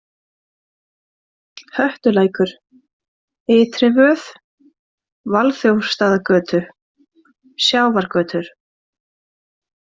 Höttulækur, Ytrivöð, Valþjófsstaðagötur, Sjávargötur